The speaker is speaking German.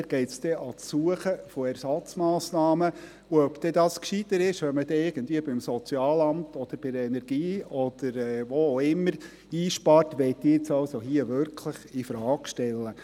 dort geht es an die Suche nach Ersatzmassnahmen, und ob es gescheiter ist, irgendwie beim Sozialamt oder bei der Energie, oder wo auch immer zu sparen, möchte ich hier wirklich infrage stellen.